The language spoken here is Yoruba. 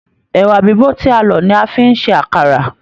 Ẹwà bibo tí a lọ ní a fi n se àkàrà.